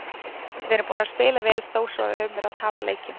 Við erum búnir að spila vel þó svo að við höfum verið að tapa leikjum.